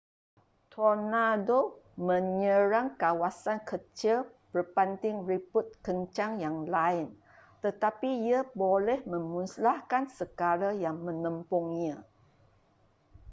tornado menyerang kawasan kecil berbanding ribut kencang yang lain tetapi ia boleh memusnahkan segala yang menembungnya